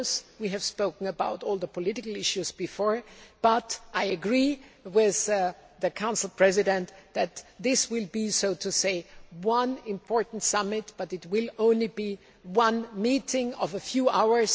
We have spoken about all the political issues before, but I agree with the Council President that although this will be an important summit, it will only be one meeting of a few hours.